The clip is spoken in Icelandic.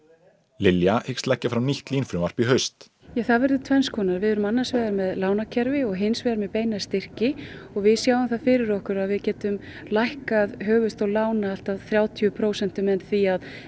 Lilja hyggst leggja fram nýtt LÍN frumvarp í haust það verður tvenns konar við verðum annars vegar með lánakerfi og hins vegar með beina styrki og við sjáum það fyrir okkur að við getum lækkað höfuðstól lána allt að þrjátíu prósent með því að